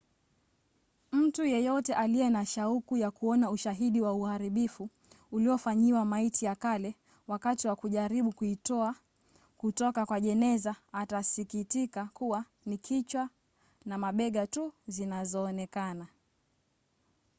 mtu yeyote aliye na shauku ya kuona ushahidi wa uharibifu uliofanyiwa maiti ya kale wakati wa kujaribu kuitoa kutoka kwa jeneza atasikitika kuwa ni kichwa na mabega tu zinazoonekana